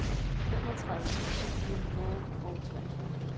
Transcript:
femogtredive tusind fire hundrede og treogfyrre